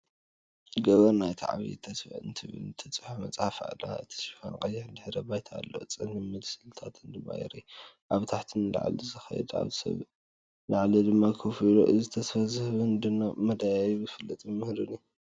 ገበር ናይታ "ዓቢ ተስፋ" እትብል መጽሓፍ ትረአ። እቲ ሽፋን ቀይሕ ድሕረ ባይታ ኣለዎ፣ ጸሊም ምስልታት ድማ ይርአ፤ ካብ ታሕቲ ንላዕሊ ዝኸይድ ሰብ ኣብ ላዕሊ ድማ ኮፍ ኢሉ። እዚ ተስፋ ዝህብን ድንቅ መደያይብ ፍልጠት ዘምህርን እዩ።